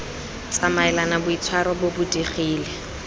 tsamaelane boitshwaro bo bo digile